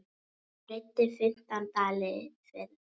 Þeir greiddu fimmtán dali fyrir.